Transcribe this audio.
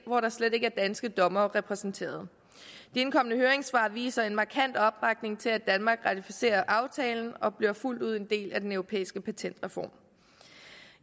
hvor der slet ikke er danske dommere repræsenteret de indkomne høringssvar viser en markant opbakning til at danmark ratificerer aftalen og bliver fuldt ud en del af den europæiske patentreform